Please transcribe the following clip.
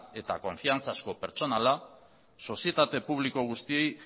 eta konfiantzazko pertsonala sozietate publiko guztiei